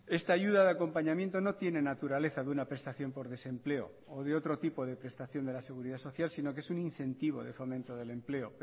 esta ayuda de acompañamiento no tiene naturaleza de una prestación por desempleo o de otro tipo de prestación de la seguridad social sino que es un incentivo de fomento del empleo